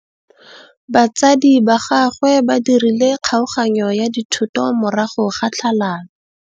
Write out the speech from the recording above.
Batsadi ba gagwe ba dirile kgaoganyô ya dithoto morago ga tlhalanô.